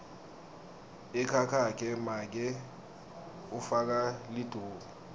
ekhakhakhe make ufaka liduku